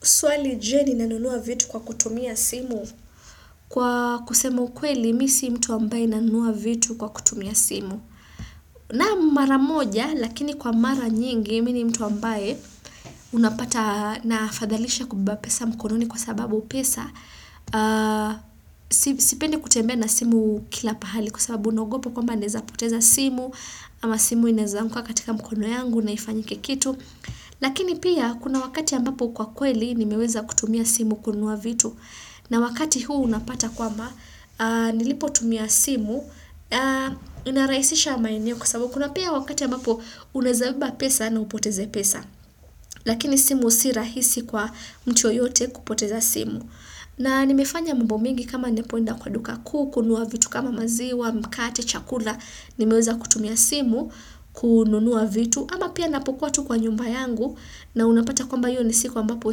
Swali je ninanunua vitu kwa kutumia simu? Kwa kusema kweli, mi si mtu ambaye nanunua vitu kwa kutumia simu. Naam, mara moja, lakini kwa mara nyingi, mi ni mtu ambaye unapata na fadhalisha kubeba pesa mkononi kwa sababu pesa. Sipendi kutembe na simu kila pahali kwa sababu naogopo kwamba naeza poteza simu, ama simu inaezanguka katika mkono yangu na ifanyike kitu. Lakini pia kuna wakati ambapo kwa kweli nimeweza kutumia simu kununua vitu na wakati huu unapata kwamba nilipo tumia simu inarahisisha maeneo kwasababu kuna pia wakati ambapo unaezabeba pesa na upoteze pesa lakini simu si rahisi kwa mtu yoyote kupoteza simu na nimefanya mambo mingi kama napoenda kwa duka kuu kununua vitu kama maziwa, mkate, chakula nimeweza kutumia simu kununua vitu ama pia napokuwa tu kwa nyumba yangu na unapata kwamba hiyo ni siku ambapo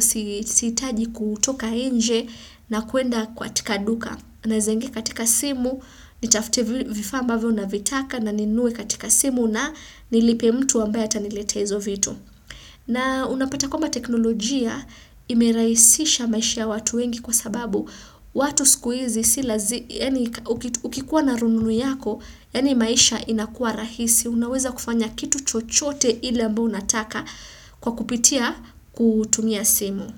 siitaji kutoka nje na kuenda kaatika duka. Naeza ingia katika simu, nitafute vifaa ambavyo na vitaka na ninunue katika simu na nilipe mtu ambaye ataniletea hizo vitu. Na unapata kwamba teknolojia imerahisisha maisha ya watu wengi kwa sababu. Watu siku hizi, ukikuwa na rununu yako, yani maisha inakuwa rahisi, unaweza kufanya kitu chochote ile ambao unataka kwa kupitia kutumia simu.